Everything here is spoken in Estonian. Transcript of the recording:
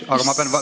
Issand küll!